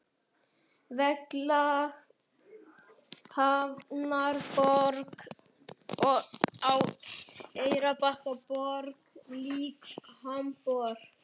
Vegleg hafnarborg á Eyrarbakka- borg lík Hamborg.